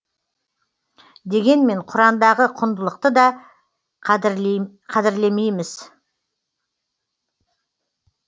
дегенмен құрандағы құндылықты да қадірлемейміз